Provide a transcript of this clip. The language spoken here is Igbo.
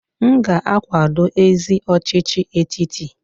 M ga-akwado ezi ọchịchị etiti.